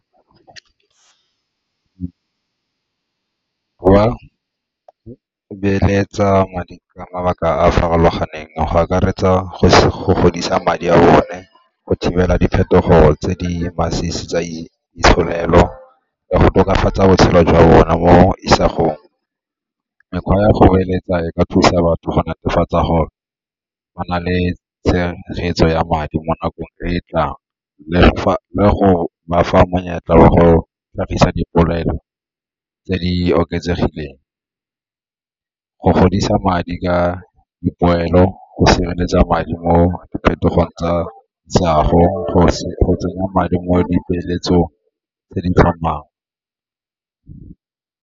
Well, beeletsa madi ka mabaka a a farologaneng, go akaretsa go godisa madi a bone go thibela diphetogo tse di masisi tsa itsholelo go tokafatsa botshelo jwa bona mo isagong. Mekgwa ya go beeletsa e ka thusa batho go netefatsa gore ba na le tshegetso ya madi mo nakong e tlang le go ba fa monyetla wa go tlhagisa dipolelo tse di oketsegileng, go godisa madi ka dipoelo, go sireletsa madi mo diphetogo tsa isago, go tsenya madi mo dipeeletsong tse di .